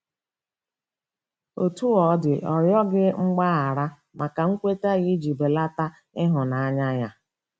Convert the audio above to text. Otú ọ dị, ọ rịọghị mgbaghara maka nkweta ya iji belata nhụjuanya ya.